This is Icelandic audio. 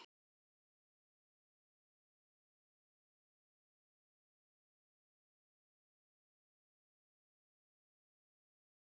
er hér aldrei heimil.